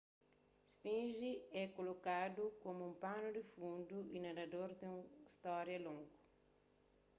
sfinge é kolokadu komu un panu di fundu y narador di un stória longu